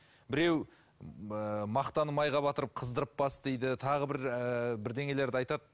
біреу ы мақтаны майға батырып қыздырып бас дейді тағы бір ыыы бірдеңелерді айтады